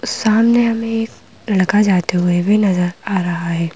सामने हमें एक लड़का जाते हुए भी नज़र आ रहा है।